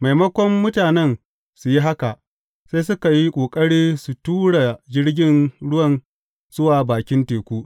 Maimakon mutanen su yi haka, sai suka yi ƙoƙari su tura jirgin ruwan zuwa bakin teku.